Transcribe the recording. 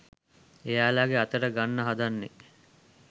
එයාලගෙ අතට ගන්න හදන්නේ